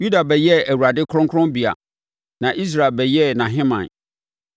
Yuda bɛyɛɛ Awurade kronkronbea na Israel bɛyɛɛ nʼahemman.